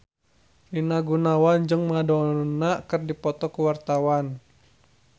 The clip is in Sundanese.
Rina Gunawan jeung Madonna keur dipoto ku wartawan